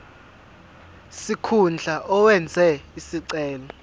sikhundla owenze isicelo